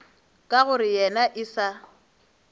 ka gore yena e sa